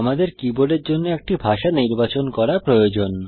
আমাদের কীবোর্ডের জন্য একটি ভাষা নির্বাচন করা প্রয়োজন